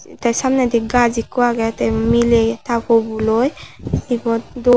te samnedi gaj ekko agey te miley ta poboloi ebot dub.